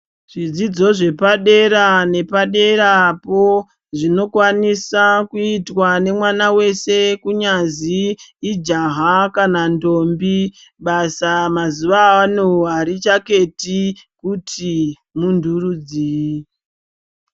Zvidzidzo zvepa dera ne padera po zvino kwanisa kuitwa ne mwana weshe kunyazi ijaha kana ndombi basa mazuva ano aricha keti kuti muntu rudzii.